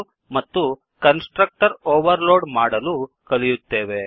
ಎಂದು ಮತ್ತು constructor overload ಮಾಡಲು ಕಲಿಯುತ್ತೇವೆ